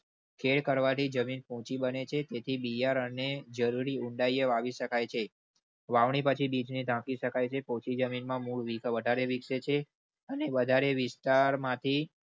ખેડ કરવાથી જમીન પોચી બને છે તેથી બિહાર અને જરૂરી ઉંડાઈ વાવી શકાય છે. વાવણી પછી બીજી રાખી શકાય છે. પોચી જમીન માં મૂળ વધારે વિકસે છે. અને વધારે વિસ્તાર માંથી